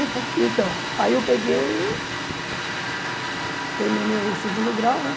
Então, aí eu peguei, terminei o segundo grau, né?